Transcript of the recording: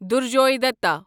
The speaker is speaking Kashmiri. دُرجوے دتا